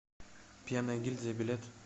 пенная гильдия билет